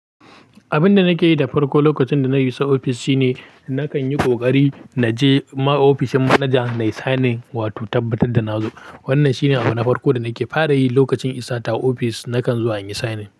Abin da nake yi da farko lokacin da na iso ofis shine nakan yi kokari na je ma ofishin manajan na yi signing wato tabbatar da na zo. Wannan shine abin farko da nake fara yi lokacin isa ta ofis, nakan zuwa in yi signing.